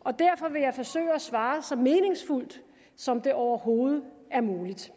og derfor vil jeg forsøge at svare så meningsfuldt som det overhovedet er muligt